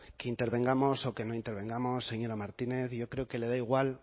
intervengamos o que no intervengamos señora martínez yo creo que le da igual